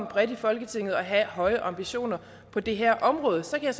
bredt i folketing er at have høje ambitioner på det her område så kan